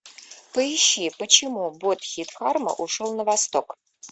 поищи почему бодхидхарма ушел на восток